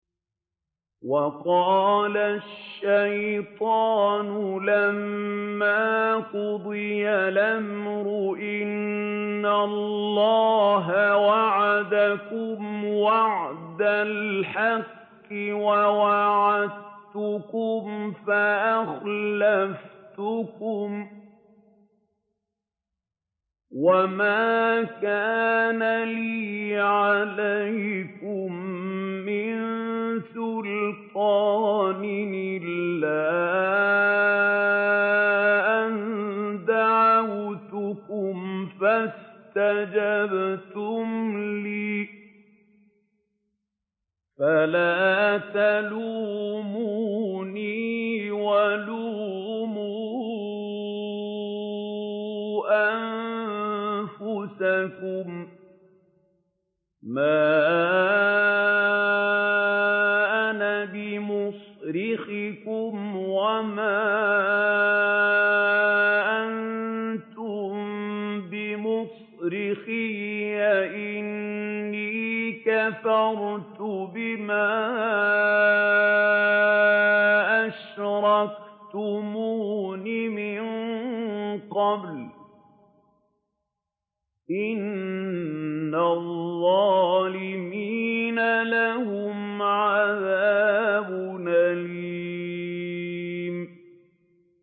وَقَالَ الشَّيْطَانُ لَمَّا قُضِيَ الْأَمْرُ إِنَّ اللَّهَ وَعَدَكُمْ وَعْدَ الْحَقِّ وَوَعَدتُّكُمْ فَأَخْلَفْتُكُمْ ۖ وَمَا كَانَ لِيَ عَلَيْكُم مِّن سُلْطَانٍ إِلَّا أَن دَعَوْتُكُمْ فَاسْتَجَبْتُمْ لِي ۖ فَلَا تَلُومُونِي وَلُومُوا أَنفُسَكُم ۖ مَّا أَنَا بِمُصْرِخِكُمْ وَمَا أَنتُم بِمُصْرِخِيَّ ۖ إِنِّي كَفَرْتُ بِمَا أَشْرَكْتُمُونِ مِن قَبْلُ ۗ إِنَّ الظَّالِمِينَ لَهُمْ عَذَابٌ أَلِيمٌ